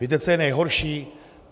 Víte, co je nejhorší?